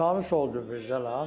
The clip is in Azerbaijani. Tanış olduq Mirzə ilə.